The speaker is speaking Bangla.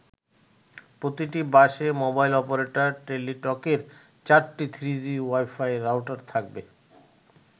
প্রতিটি বাসে মোবাইল অপারেটর টেলিটকের চারটি থ্রিজি ওয়াই-ফাই রাউটার থাকবে।